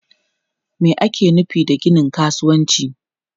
Me ake nufi da ginin kasuwanci?